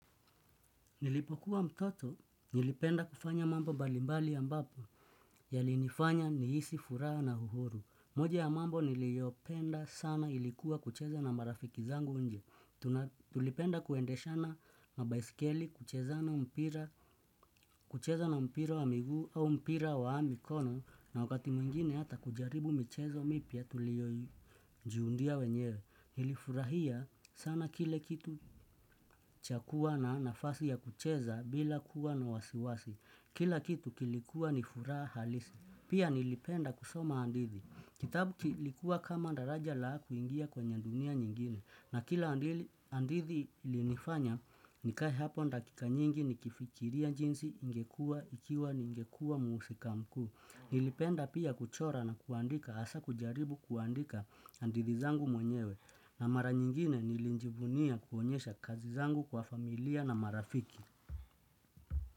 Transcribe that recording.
Nilipokuwa mtoto, nilipenda kufanya mambo mbalimbali ambapo, yalinifanya nihisi furaha na uhuru. Moja ya mambo niliopenda sana ilikuwa kucheza na marafiki zangu inje tuna. Tulipenda kuendeshana mabaisikeli, kucheza na mpira wa miguu au mpira wa mikono, na wakati mwingine hata kujaribu michezo mipya tuliojiundia wenyewe. Nilifurahia sana kile kitu cha kua na nafasi ya kucheza bila kuwa na wasiwasi Kila kitu kilikuwa ni furaha halisi Pia nilipenda kusoma hadithi Kitabu kilikuwa kama daraja la kuingia kwenye dunia nyingine na kila hadithi ilinifanya nikae hapo dakika nyingi nikifikiria jinsi ingekuwa ikiwa ningekua muhusika mkuu Nilipenda pia kuchora na kuandika hasa kujaribu kuandika hadithi zangu mwenyewe na mara nyingine nilijivunia kuonyesha kazi zangu kwa familia na marafiki.